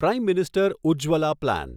prime minister Ujjwala plan